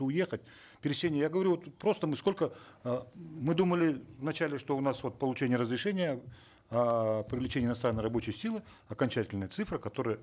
уехать пересечение я говорю вот просто мы сколько э мы думали вначале что у нас вот получение разрешения эээ привлечение иностранной рабочей силы окончательная цифра которая